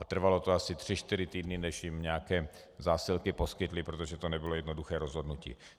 A trvalo to asi tři čtyři týdny, než jim nějaké zásilky poskytli, protože to nebylo jednoduché rozhodnutí.